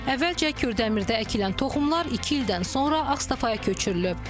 Əvvəlcə Kürdəmirdə əkilən toxumlar iki ildən sonra Ağstafaya köçürülüb.